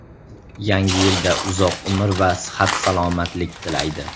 Yangi yilda uzoq umr va sihat-salomatlik tilaydi.